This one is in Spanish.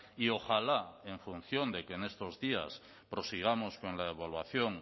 y ojalá en función de que en estos días prosigamos con la evaluación